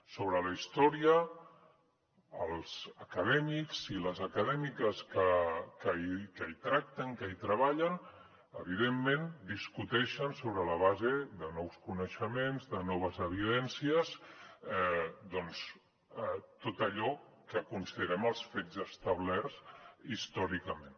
sobre la història els acadèmics i les acadèmiques que hi tracten que hi treballen evidentment discuteixen sobre la base de nous coneixements de noves evidències doncs tot allò que considerem els fets establerts històricament